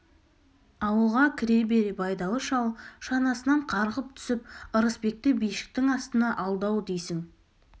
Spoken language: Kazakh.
ауылға кіре бере байдалы шал шанасынан қарғып түсіп ырысбекті бишіктің астына алды-ау дейсің